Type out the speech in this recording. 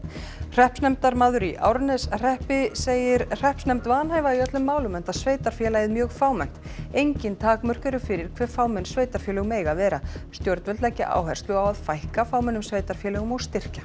hreppsnefndarmaður í Árneshreppi segir hreppsnefnd vanhæfa í öllum málum enda sveitarfélagið mjög fámennt engin takmörk eru fyrir hve fámenn sveitarfélög mega vera stjórnvöld leggja áherslu á að fækka fámennum sveitarfélögum og styrkja